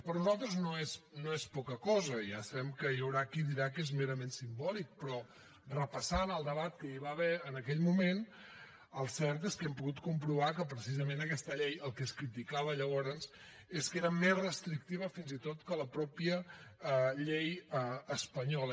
per nosaltres no és poca cosa i ja sabem que hi haurà qui dirà que és merament simbòlic però repassant el debat que hi va haver en aquell moment el cert és que hem pogut comprovar que precisament d’aquesta llei el que se’n criticava llavors és que era més restrictiva fins i tot que la mateixa llei espanyola